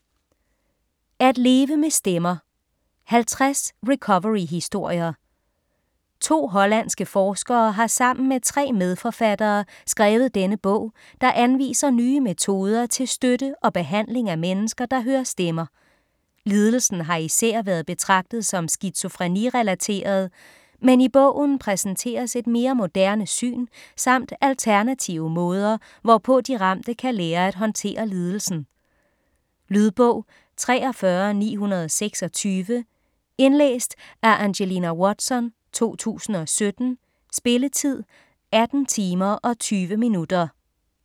At leve med stemmer: 50 recoveryhistorier 2 hollandske forskere har sammen med 3 medforfattere skrevet denne bog, der anviser nye metoder til støtte og behandling af mennesker, der hører stemmer. Lidelsen har især været betragtet som skizofreni-relateret, men i bogen præsenteres et mere moderne syn samt alternative måder, hvorpå de ramte kan lære at håndtere lidelsen. Lydbog 43926 Indlæst af Angelina Watson, 2017. Spilletid: 18 timer, 20 minutter.